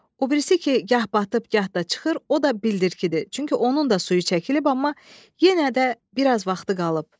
O birisi ki, gah batıb, gah da çıxır, o da bildirkidir, çünki onun da suyu çəkilib, amma yenə də biraz vaxtı qalıb.